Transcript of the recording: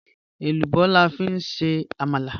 Ẹlúbọ̀ làfi n ṣe àmàlà